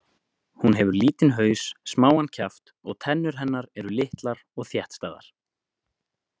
Hún hefur lítinn haus, smáan kjaft og tennur hennar eru litlar og þéttstæðar.